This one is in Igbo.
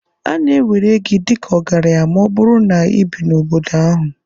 A na-ewere gị dị ka ọgaranya ma ọ bụrụ na ị bi n'obodo ahụ.